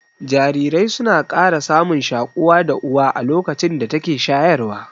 Jarirai suna ƙara samun shaƙuwa da Uwa a lokacin da take shayarwa